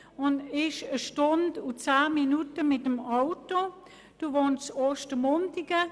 Die Fahrzeit mit dem Auto beträgt 1 Stunde und 10 Minuten.